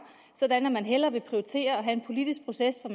og at man hellere vil prioritere at have en politisk proces hvor